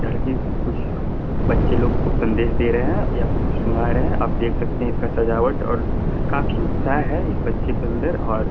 यानी की कुछ बच्चे लोग को संदेश दे रहे हैं या फिर कुछ सुना रहे है आप देख सकते है इसका सजावट और काफी उत्साह है इस बच्चे के अंदर और --